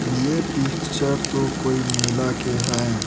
यह पिक्चर तो कोई मेला के है।